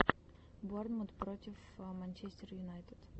борнмут против манчестер юнайтед